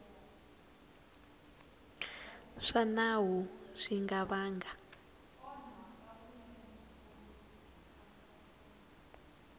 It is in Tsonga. swa nawu swi nga vanga